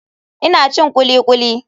Ina cin kulikuli.